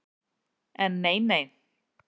En nei, nei.